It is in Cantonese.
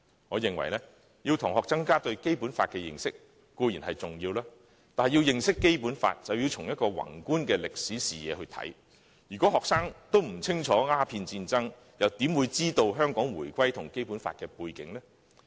我認為，要同學增加對《基本法》的認識，固然重要，但要認識《基本法》，便須從宏觀的歷史視野來看事情，如果學生不清楚鴉片戰爭，又怎會知道香港回歸與《基本法》的背景呢？